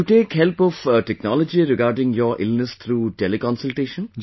And you take help of technology regarding your illness through teleconsultation